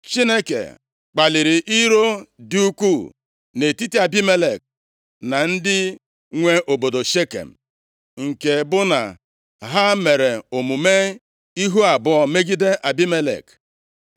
Chineke kpaliri iro dị ukwuu nʼetiti Abimelek na ndị nwe obodo Shekem, nke bụ na ha mere omume ihu abụọ megide Abimelek.